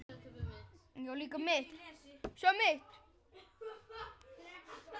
Tengdar síður